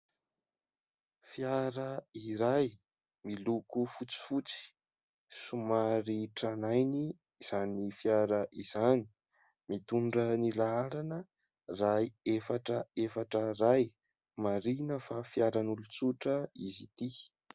Fiara iray miloko fotsifotsy somary tranainy izany fiara izany mitondra ny laharana : iray, efatra, efatra, iray ; marihina fa fiaran'olon-tsotra izy ity.